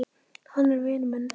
Hann er vinur minn.